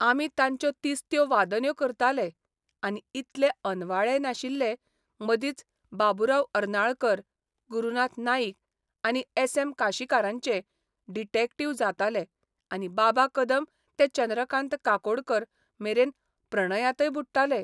आमी तांच्यो तिस्त्यो वादन्यो करताले आनी इतले अनवाळेय नाशिल्ले मदींच बाबुराव अर्नाळकर, गुरुनाथ नाईक आनी एस एम काशिकारांचे डिटेक्टीव्ह जाताले आनी बाबा कदम ते चंद्रकांत काकोडकर मेरेन प्रणयांतय बुडटाले.